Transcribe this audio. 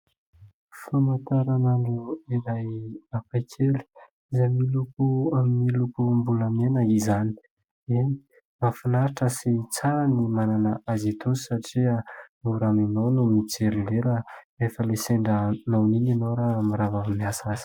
Famantaranandro iray hafa kely miloko izay miloko amin'ny lokombolamena izany. Eny, mahafinaritra sy tsara ny manana azy itony satria mora aminao ny mijery lera rehefa ilay sendra noana iny ianao raha mirava avy miasa.